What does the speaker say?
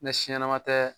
Ni si ɲɛnama tɛ